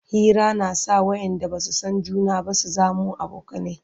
Hira na sa wayanda Basu San juna ba su zamo abokanai